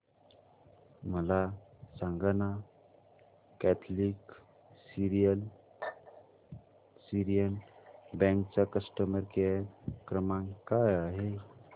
मला सांगाना Catholic Syrian bank चा कस्टमर केअर क्रमांक काय आहे